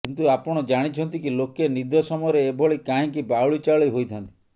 କିନ୍ତୁ ଆପଣ ଜାଣିଛନ୍ତି କି ଲୋକେ ନିଦ ସମୟରେ ଏଭଳି କାହିଁକି ବାଉଳିଚାଉଳି ହୋଇଥାନ୍ତି